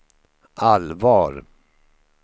allvar